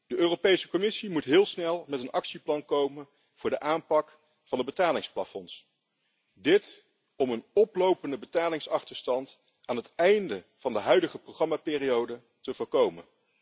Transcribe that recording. De Europese Commissie moet heel snel met een actieplan komen voor de aanpak van de betalingsplafonds, dit om een oplopende betalingsachterstand aan het einde van de huidige programmaperiode te voorkomen.